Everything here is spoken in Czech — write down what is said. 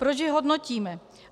Proč je hodnotíme?